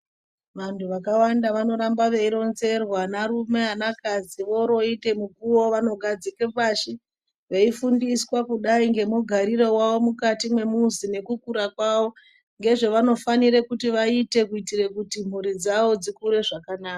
Vantu vakawanda vanoramba veironzerwa vana rume vana kadzi voroite mukuwo vanogadzike pashin veifundiswa kudai ngemugariro wawo mukati mwemuzi nekukura kwawo ngezvevanofanire kuti vaite kuitire kuti mhuri dzawo dzikure zvakanaka.